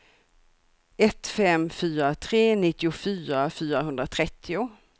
ett fem fyra tre nittiofyra fyrahundratrettio